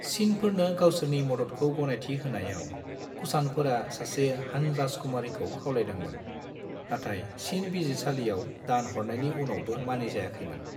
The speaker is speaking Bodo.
चीनफोरनो गावसोरनि मददखौ गनायथि होनायाव, कुषाणफोरा सासे हान राजकुमारीखौ खावलायदोंमोन, नाथाय चीन बिजिरसालिआव दान हरनायनि उनावबो मानिजायाखैमोन।